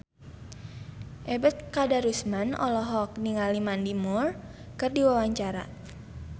Ebet Kadarusman olohok ningali Mandy Moore keur diwawancara